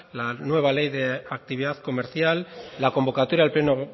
la nueva ley de actividad comercial la convocatoria del pleno